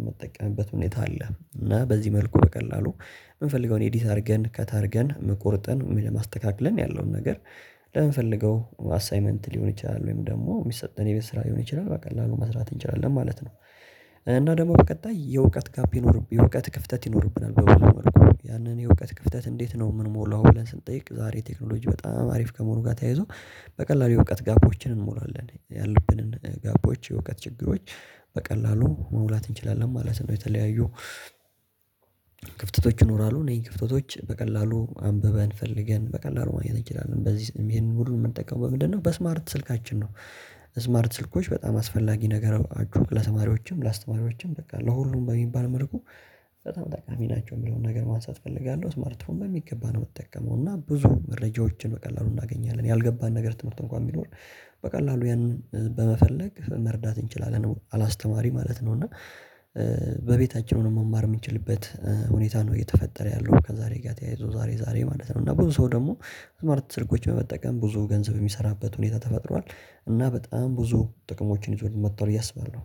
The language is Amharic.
የምጠቀምበት ሁኔታ አለ እና በዚህ መልኩ በቀላሉ የምንፈልገውን ኤዲት አድርገን ከት አርገን ቆርጠን ለማስተካከልን ያለውን ነገር ለምንፈልገው አሳይመንት ሊሆን ይችላል ወይም ደግሞ የሚሰጠን የቤት ስራ ሊሆን ይችላል በቀላሉ መስራት እንችላለን ማለት ነው እና ደግሞ በቀጣይ የእውቀት ጋፕ ይኖርብናል የእውቀት ክፍተት ይኖርብናል ያንን የእውቀት ክፍተት እንዴት ነው ምንሞላው ብለን ስንጠይቅ ዛሬ ቴክኖሎጂ በጣም አሪፍ ከመሆኑ ጋር ተያይዞ በቀላሉ የእውቀት ጋቦችን እንሞላለን ያሉብንን ጋፖች የእውቀት ችግሮች በቀላሉ መሙላት እንችላለን ማለት ነው የተለያዩ ክፍተቶች ይኖራሉ እነዚህን ክፍተቶች በቀላሉ አንብበን ፈልገን በቀላሉ ማግኘት እንችላለን በዚህ ይሄንን ሁሉ የምንጠቀመው ምንድነው በስማርት ስልካችን ነው ስማርት ስልኮች በጣም አስፈላጊ ነገር አድርጉት ለተማሪዎችም ለአስተማሪዎችም በቃ ለሁሉም በሚባል መልኩ በጣም ጠቃሚ ናቸው የሚለውን ነገር ማንሳት እፈልጋለሁ ስማርትፎን በሚገባ ነው የምትጠቀመው እና ብዙ መረጃዎችን በቀላሉ እናገኛለን ያልገባን ነገር ትምህርት እንኳን የሚኖር በቀላሉ ያንን በመፈለግ መርዳት እንችላለን አላስተማሪ ማለት ነው እና በቤታችን መማር የምንችልበት ሁኔታ ነው እየተፈጠረ ያለው ከዛሬ ጋር ተያይዞ ዛሬ ዛሬ ማለት ነው እና ብዙ ሰው ደግሞ ስማርት ትርጉሞችን በመጠቀም ብዙ ገንዘብ የሚሰራበት ሁኔታ ተፈጥሯል እና በጣም ብዙ ጥቅሞችን ይዞልን መጥቷል ብየ አስበላው